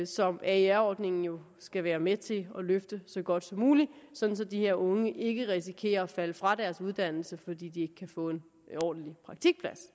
som aer ordningen jo skal være med til at løfte så godt som muligt sådan så de her unge ikke risikerer at falde fra deres uddannelse fordi de ikke kan få en ordentlig praktikplads